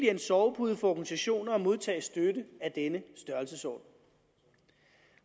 en sovepude for organisationer at modtage støtte af denne størrelsesorden